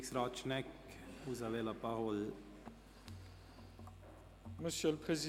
Regierungsrat Schnegg, vous avez la parole.